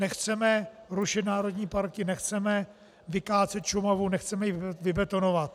Nechceme rušit národní parky, nechceme vykácet Šumavu, nechceme ji vybetonovat.